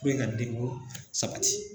I bɛ ka sabati.